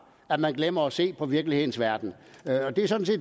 at man glemmer at se på virkelighedens verden